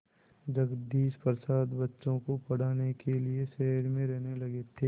जगदीश प्रसाद बच्चों को पढ़ाने के लिए शहर में रहने लगे थे